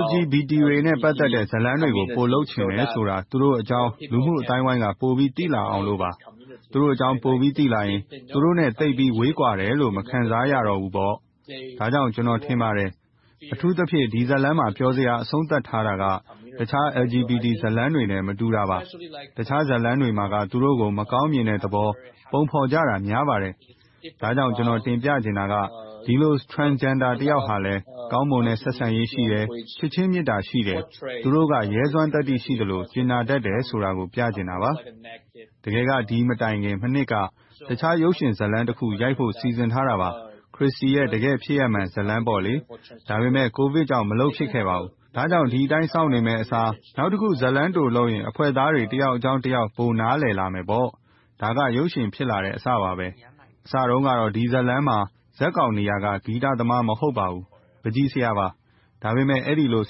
LGBTQ တွေနဲ့ ပတ်သက်တဲ့ ဇာတ်လမ်းတွေကို ပိုလုပ်ချင်တယ်ဆိုတာ သူတို့အကြောင်း လူမှုအသိုင်းအဝိုင်းက ပိုပြီးသိလာအောင်လို့ပါ။ သူတို့အကြောင်း ပိုပြီးသိလာရင် သူတို့နဲ့ ဝေးကွာတယ်လို့ မခံစားရတော့ဘူးပေါ့။ ဒါကြောင့် ကျနော်ထင်ပါတယ်။ အထူးသဖြင့် ဒီဇာတ်လမ်းမှာ ပျော်စေစရာ အဆုံးသတ်ထားတာက တခြား LGBT ဇာတ်လမ်းတွေနဲ့ မတူတာပါ။ တခြားဇာတ်လမ်းတွေမှာက သူတို့ကို မကောင်းမြင်တဲ့သဘော ပုံဖော်ကြတာ များပါတယ်။ ဒါကြောင့် ကျနော်တင်ပြချင်တာက ဒီလို Transgender တယောက်ဟာလဲ ကောင်းမွန်တဲ့ ဆက်ဆံရေး ရှိတယ်။ ချစ်ချင်းမေတ္တာ ရှိတယ်။ သူတို့က ရဲစွမ်းသတ္တိ ရှိသလို၊ အကြင်နာတတ်တယ်ဆိုတာကို ပြသချင်တာပါ။ တကယ်က ဒီမတိုင်မီ မနှစ်က တခြားရုပ်ရှင်ဇာတ်လမ်းတခု ရိုက်ဖို့ စီစဉ်ထားတာပါ။ ခရစ္စတီရဲ့ တကယ်ဖြစ်ရပ်မှန်ဇာတ်လမ်းပေါ့။ ဒါပေမဲ့ ကိုဗစ်ကြောင့် မလုပ်ဖြစ်ခဲ့ပါဘူး။ ဒါကြောင့် ဒီအတိုင်း စောင့်နေမယ့်အစား၊ နောက်တခု ဇာတ်လမ်းတိုလုပ်ရင် အဖွဲ့သားတွေ တယောက်အကြောင်းတယောက် ပိုနားလည်လာမယ်ပေါ့။ ဒါက ရုပ်ရှင်ဖြစ်လာတဲ့အစပါပဲ။ အစတုန်းကတော့ ဒီဇာတ်လမ်းမှာ ဇာတ်ကောင်နေရာက ဂီတသမား မဟုတ်ပါဘူး။ ပန်းချီဆရာပါ။ ဒါပေမဲ့ အဲဒီလို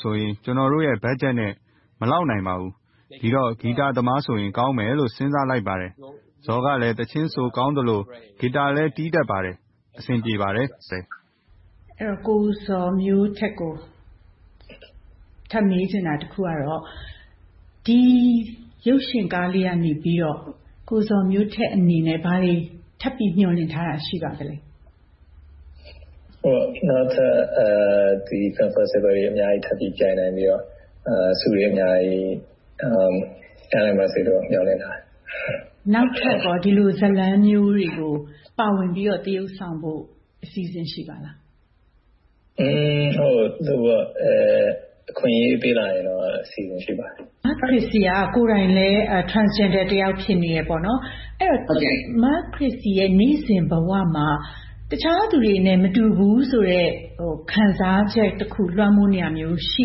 ဆိုရင် ကျနော်တို့ရဲ့ ဘတ်ဂျက်နဲ့ မလောက်နိုင်ပါဘူး။ ဒီတော့ ဂီတသမားဆိုရင် ကောင်းမယ်လို စဉ်းစားလိုက်ပါတယ်။ ဇော်ကလည်း သီချင်းဆိုကောင်းသလို၊ ဂီတာလည်း တီးတတ်ပါတယ်။ အဆင်ပြေပါတယ်။ ကိုဇော်မျိုးထက်ကို ထပ်မေးချင်တာက တခုကတော့ ဒီရုပ်ရှင်ကားလေးကနေ ကိုဇော်မျိုးထက်အနေနဲ့ ဘာတွေထပ်ပြီး မျှော်လင့်ထားတာ ရှိပါသလဲ။ နောက်ထပ် အများကြီးပြိုင်နိုင်ပြီးတော့ ဆုတွေအများကြီး ရနိုင်ပါစေလို့ မျှော်လင့်ပါတယ်။ နောက်ထပ်ကော ဒီလိုဇာတ်လမ်းမျိုးတွေကို ပါဝင်ပြီးတော့ သရုပ်ဆောင်ဖို့ အစီအစဉ် ရှိပါသလား။ အခွင့်အရေးပေးလာရင်တော့ အစီအစဉ် ရှိပါတယ်။ မခရစ္စီက ကိုယ်တိုင်လည်း Transgender တယောက် ဖြစ်နေတယ်။ အဲဒီတော့ မခရစ္စတီရဲ့ နေ့စဉ်ဘဝမှာ တခြားသူတွေနဲ့ မတူဘူးဆိုတဲ့ ခံစားချက်တခု လွှမ်းမိုးနေတာမျိုး ရှိ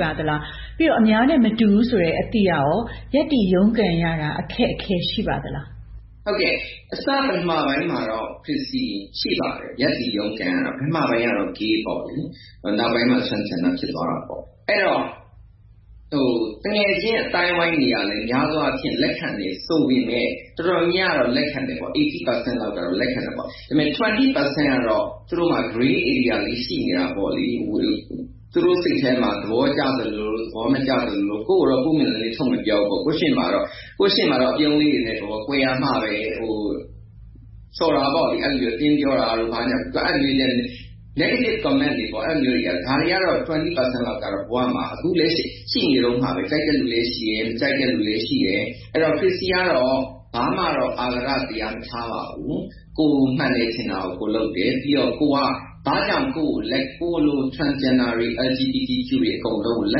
ပါသလား။ ပြီးတော့ အများနဲ့မတူဘူးဆိုတဲ့ အသိကရော ရပ်တည်ရုန်းကန်ရတာ အခက်အခဲ ရှိပါသလား။ ဟုတ်ကဲ့ အစပထမပိုင်းမှာတော့ ရှိပါတယ်။ ရပ်တည်ရုန်းကန်ရတာ ပထမပိုင်းကတော့ Gay ပေါ့။ နောက်ပိုင်းမှာ Transgender ဖြစ်သွားတာပါ။ အဲဒီတော့ သူငယ်ချင်းအသိုင်းအဝိုင်းတွေက များသောအားဖြင့် လက်ခံတယ်ဆိုပေမယ့် တော်တော်များများကတော့ လက်ခံတယ် - ၈၀% လောက်ကတော့ လက်ခံတယ်။ ဒါပေမဲ့ ၂၀% ကတော့ သူတို့မှာ Grey Area လေး ရှိနေတာပေါ့။ သူတို့စိတ်ထဲမှာ သဘောကျသလိုလို၊ သဘောမကျသလိုလို ကိုယ့်ကိုယ်တော့ ပွင့်ပွင့်လင်းလင်း ထုတ်မပြောဘူး။ ကိုယ့်ရှေ့မှာတော့ အပြုံးလေးတွေနဲ့ပေါ့။ ကွယ်ရာမှာပဲ ဆော်တာပေါ့။ အတင်းပြောတာတို့ ဘာညာ Negative Comments တွေ - ဒါတွေကတော့ ၂၀% လောက်တော့ ဘဝမှာ အခုလက်ရှိအထိ ရှိနေတုန်းပါပဲ။ ကြိုက်တဲ့လူလည်း ရှိတယ်။ မကြိုက်တဲ့လူလည်း ရှိတယ်။ အဲဒီတော့ ခရစ္စီကတော့ ဘာမှတော့ အဃာတတရား မထားပါဘူး။ ကိုယ်မှန်တယ်ထင်တာကို ကိုယ်လုပ်တယ်။ ပြီးတော့ ကိုယ်က ဘာကြောင့် ကိုယ်လို Transgender တွေ၊ LGBTQ တွေ အားလုံးကို လ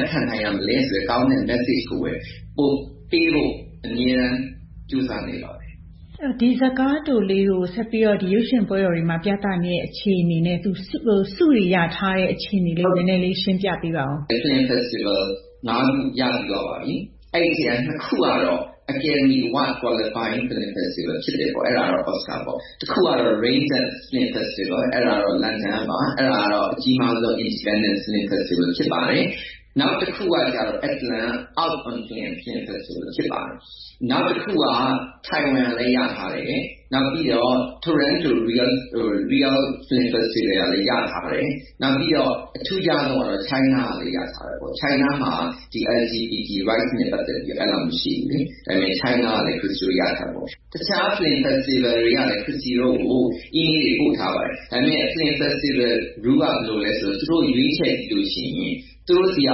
က်ခံနိုင်ရမလဲဆိုတဲ့ ကောင်းတဲ့ Message ကိုပဲ ပိုပေးဖို့ အမြဲတမ်း ကြိုးစားနေပါတယ်။ ဒီဇာတ်ကားတိုလေးကို ဆက်ပြီးတော့ ရုပ်ရှင်ပွဲတော်တွေမှာ ပြသနေချိန်နဲ့ ဆုတွေရထားတဲ့ အခြေအနေလေးကို နည်းနည်းလေး ရှင်းပြပေးပါအုံး။ Film Festivals ငါးခု ရထားပြီးပါပြီ။ အဲဒီအထဲက နှစ်ခုကတော့ Academy Award Qualified Film Festival တွေ ဖြစ်တယ်။ အဲဒါကတော့ Oscar ပေါ့။ တစ်ခုကတော့ Raindance Film Festival ကတော့ London ကပါ။ အဲဒါကတော့ အကြီးမားဆုံး Independent Film Festival ဖြစ်ပါတယ်။ နောက်တခုကတော့ Atlanta Out on Film Festival ဖြစ်ပါတယ်။ နောက်တခုက Taiwan လည်း ရထားတယ်။ နောက်ပြီးတော့ Toronto Real Film Festival ကလည်း ရထားတယ်။ နောက်ပြီးတော့ အထူးခြားဆုံးကတော့ China ကလည်း ရထားတယ်။ China မှာက LGBTQ Rights နဲ့ ပတ်သက်ပြီး အဲဒီလောက် မရှိဘူး။ တခြား Film Festival တွေကလည်း ခရစ္စီတို့ကို အီမေးလ်တွေ ပို့ထားပါတယ်။ ဒါပေမဲ့ Film Festival Rule က ဘာလဲဆိုတော့ သူတို့ရွေးချယ်လို့ရှိရင် သူတို့ဆီက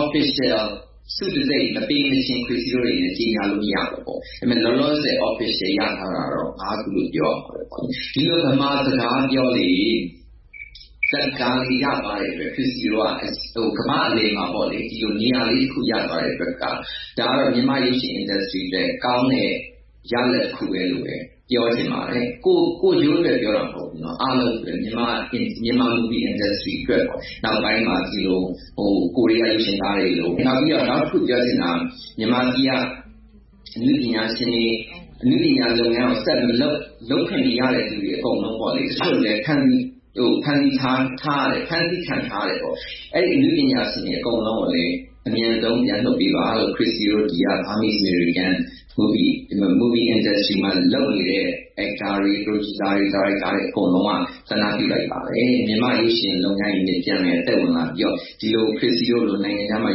Official ဆုတံဆိပ် မပေးမချင်း ခရစ္စီတို့အနေနဲ့ ကြေညာလို့ မရဘူး။ လောလောဆယ် Official ရထားတာတော့ ခုလို့ ပြောရမှာပေါ့။ ဒီလို ဗမာစကားပြော ဇာတ်ကားလေး ရသွားတဲ့အတွက် ခရစ္စီတို့တွေ ကမ္ဘာ့အလယ်မှာ နေရာလေးတခု ရသွားတဲ့အတွက်၊ ဒါက မြန်မာရုပ်ရှင် Industry အတွက်လည်း ကောင်းတဲ့ရလဒ်တခုလို့ပဲ ပြောချင်ပါတယ်။ ကိုယ့်ကျိုးအတွက်ပဲ ပြောတာမဟုတ်ဘူး။ အားလုံးအတွက် Myanmar Movie Industry အတွက် နောက်ပိုင်းမှာ ကိုရီးယားရုပ်ရှင်ကားတွေလို၊ နောက်ပြီးတော့ နောက်တခုပြောချင်တာက မြန်မာပြည်က အနုပညာရှင်တွေ၊ အနုပညာလုပ်ငန်းကို ဆက်မလုပ်၊ လုပ်ခွင့်မရတဲ့ အကုန်လုံး၊ တချို့လည်း ဖမ်းဆီးခံထားရတယ်။ အဲဒီအနုပညာရှင်တွေ အကုန်လုံးကိုလည်း အမြန်ဆုံးပြန်လွှတ်ပေးပါလို့ ခရစ္စီတို့ Burmese-American Movie Industry မှာ လုပ်နေတဲ့ Actors, Directors, Producers တွေက ဆန္ဒပြုလိုက်ပါတယ်။ မြန်မာ့ရုပ်ရှင်လုပ်ငန်းတွေလည်း ပြန်လည်သက်ဝင်လာပြီးတော့ ဒီလို ခရစ္စီတို့လို နိုင်ငံခြားမှာ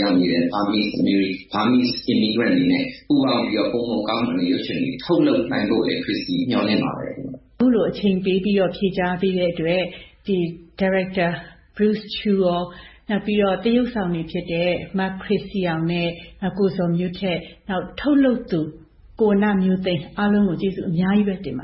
ရောက်နေတဲ့ Burmese Immigrants တွေနဲ့ ပူးပေါင်းပြီးတော့ ပိုမိုကောင်းမွန်တဲ့ ရုပ်ရှင်တွေ ထုတ်လုပ်နိုင်ဖို့လည်း မျှော်လင့်ပါတယ်။ အခုလို အချိန်ပေးပြီးတော့ ဖြေကြားပေးတဲ့အတွက် ဒါရိုက်တာ Bruce Chu, နောက်ပြီးတော့ သရုပ်ဆောင်တွေဖြစ်တဲ့ မခရစ္စီအောင်၊ ကိုဇော်မျိုးထက်၊ ထုတ်လုပ်သူ ဝဏ္ဏမျိုးသိန်း အားလုံးကို ကျေးဇူးအများကြီးပဲ တင်ပါ